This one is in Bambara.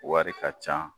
Wari ka ca